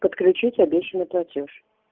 подключить обещанный платёж